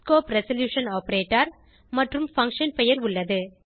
scope resolution operator மற்றும் function பெயர் உள்ளது